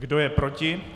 Kdo je proti?